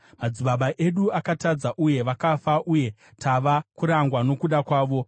Madzibaba edu akatadza uye vakafa, uye tava kurangwa nokuda kwavo.